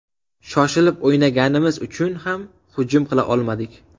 Shoshilib o‘ynaganimiz uchun ham hujum qila olmadik.